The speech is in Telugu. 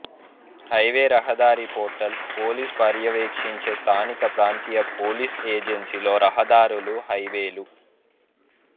హైవే రహదారి పోర్టల్ పోలీస్ పర్యవేక్షించే స్థానిక ప్రాంతీయ పోలీసు ఏజెన్సీలో రహదారులు హైవేలు